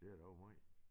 Det er da også måj